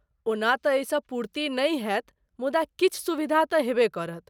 ओना तँ एहिसँ पूर्ति नहि होयत, मुदा किछु सुविधा तँ हेबे करत।